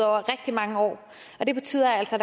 rigtig mange år og det betyder altså